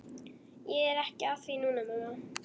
Ég er ekki að því núna, mamma.